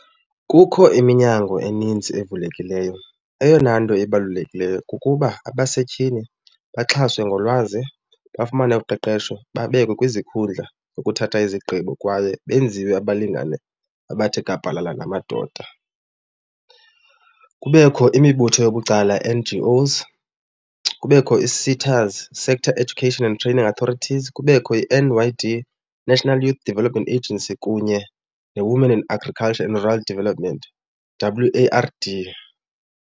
Kukho iminyango eninzi evulekileyo. Eyona nto ibalulekileyo kukuba abasetyhini baxhaswe ngolwazi, bafumane uqeqesho, babekwe kwizikhundla zokuthatha izigqibo kwaye benziwe abalingane abathe gabhalala ngamadoda. Kubekho imibutho yobucala N_G_Os, kubekho ii-SETAs, Sector Education and Training Authorities, kubekho i-N_Y_D, National Youth Development Agency kunye neWomen in Agriculture and Rural Development, W_A_R_D.